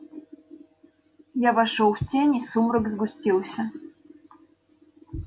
я вошёл в тень и сумрак сгустился